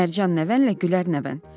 Mərcan nəvən, Gülər nəvən.